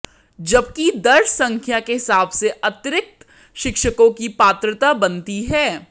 जबकि दर्ज संख्या के हिसाब से अतिरिक्त शिक्षकों की पात्रता बनती है